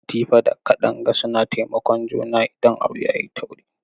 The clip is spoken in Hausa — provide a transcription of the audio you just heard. Latifa da Kadanga suna taimakon juna idan abu yayi tauri.